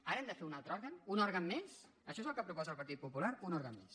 ara hem de fer un altre òrgan un òrgan més això és el que proposa el partit popular un òrgan més